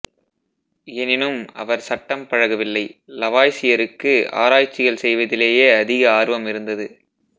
எனினும் அவர் சட்டம் பழகவில்லை லவாய்சியருக்கு ஆராய்ட்சிகள் செய்வதிலேயே அதிக ஆர்வம் இருந்தது